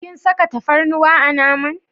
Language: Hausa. Kin saka tafarnuwa a naman.